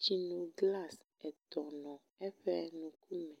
tsinoglas nɔ eƒe ŋkume.